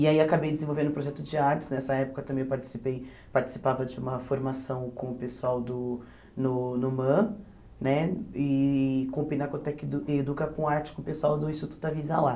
E aí acabei desenvolvendo um projeto de artes, nessa época também participei participava de uma formação com o pessoal do no NUMAN, né e com o Pinacotec Educa com Arte, com o pessoal do Instituto Avisa Lá.